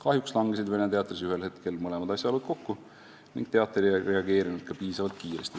Kahjuks langesid Vene Teatris ühel hetkel mõlemad asjaolud kokku ning teater ei reageerinud selles olukorras ka piisavalt kiiresti.